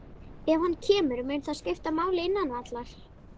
Ef hann kemur, mun það skipta máli innan vallar?